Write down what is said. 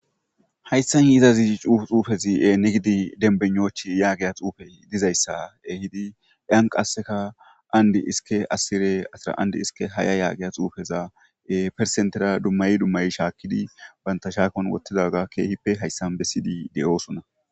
hayssan yizazi xuufezi7e ne gidi denbenochi yaageya xuufey dizayssa ehidi eanqasseka andi iske asire asraandi hiske haya yaageya xuufeza persentera dummayi dummay shaakidi banta shaakon wottidaga keehippe hayssan besidi de7osunna